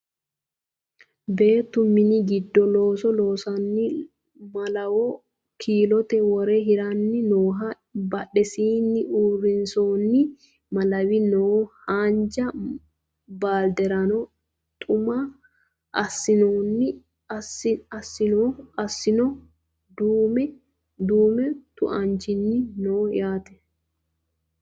Beettu minu giddo looso loosanni malawo kiilote wore hiranni noohanna badhesiinni usurroonni malawi no haanja baalderano tu"ame aanaseno duumu tu"anchi no yaate